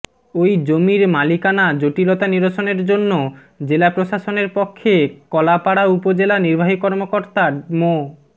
ওই জমির মালিকানা জটিলতা নিরসনের জন্য জেলা প্রশাসনের পক্ষে কলাপাড়া উপজেলা নির্বাহী কর্মকর্তা মো